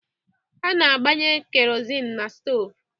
A na-agbanye kerosini n'stoovu.